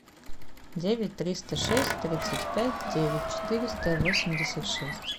девять триста шесть тридцать пять девять четыреста восемьдесят шесть